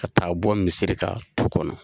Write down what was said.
Ka taa bɔ misiri kan tu kɔnɔ,